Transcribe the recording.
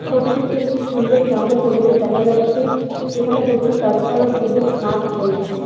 ছবিটিতে একটি সুন্দর গ্রাম্য পরিবেশ দেখা যাচ্ছে যেখানে প্রচুর গাছপালা ও সবুজ মাঠ রয়েছে।